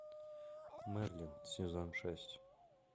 мерлин сезон шесть